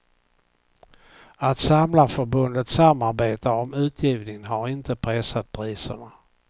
Att samlarförbundet samarbetar om utgivningen har inte pressat priserna.